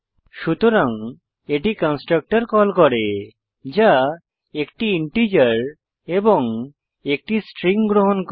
সুতরাং এটি constructor call করে যা 1 টি ইন্টিজার এবং 1 টি স্ট্রিং গ্রহণ করে